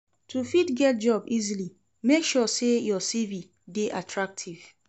To fit get job easily make sure say you CV de attractive